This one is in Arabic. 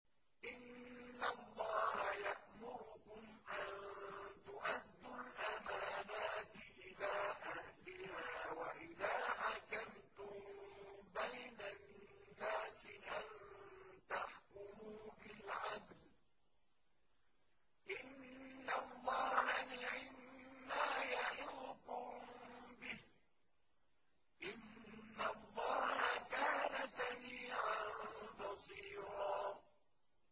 ۞ إِنَّ اللَّهَ يَأْمُرُكُمْ أَن تُؤَدُّوا الْأَمَانَاتِ إِلَىٰ أَهْلِهَا وَإِذَا حَكَمْتُم بَيْنَ النَّاسِ أَن تَحْكُمُوا بِالْعَدْلِ ۚ إِنَّ اللَّهَ نِعِمَّا يَعِظُكُم بِهِ ۗ إِنَّ اللَّهَ كَانَ سَمِيعًا بَصِيرًا